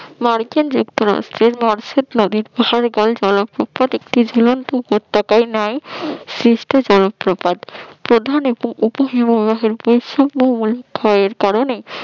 MARKIN যুক্ত রাষ্ট্যের মরসেট নদীর জলপ্রপাত একটি ঝুলন্ত উপত্যকা ন্যায় সৃষ্টি জলপ্রপাত প্রধান উপ হিমবাহের বৈশিষ্ট্যময় ক্ষয়ের কারণে